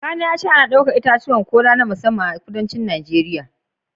Kakana ya ce ana ɗaukar itatuwan kola na musamman a kudancin Najeriya